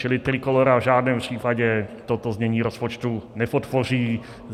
Čili Trikolóra v žádném případě toto znění rozpočtu nepodpoří.